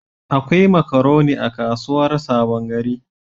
Akwai makaroni a kasuwar Sabon gari.